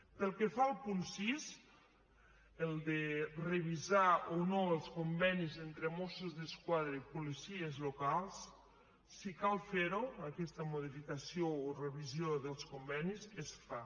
pel que fa al punt sis el de revisar o no els convenis entre mossos d’esquadra i policies locals si cal fer ho aquesta modificació o revisió dels convenis es fa